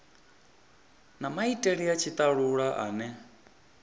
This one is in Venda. na maitele a tshitalula ane